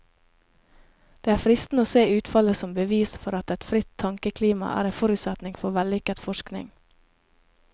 Det er fristende å se utfallet som bevis for at et fritt tankeklima er en forutsetning for vellykket forskning.